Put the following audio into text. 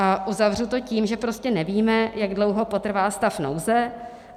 A uzavřu to tím, že prostě nevíme, jak dlouho potrvá stav nouze.